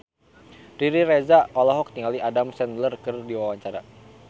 Riri Reza olohok ningali Adam Sandler keur diwawancara